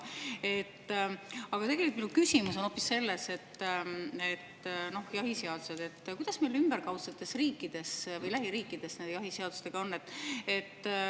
Aga tegelikult minu küsimus on hoopis see, kuidas meie ümberkaudsetes riikides või lähiriikides jahiseadustega on.